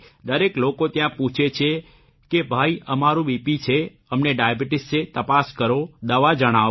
દરેક લોકો ત્યાં પૂછે છે કે ભાઇ અમારું બીપી છે અમને ડાયાબીટીસ છે તપાસ કરો દવા જણાવો